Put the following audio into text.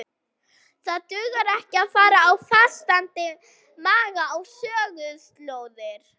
Það dugar ekki að fara á fastandi maga á söguslóðir.